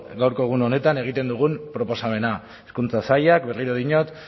gaurko egun honetan egiten dugun proposamena hezkuntza sailak berriro diot